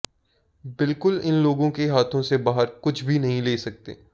बिल्कुल इन लोगों के हाथों से बाहर कुछ भी नहीं ले सकते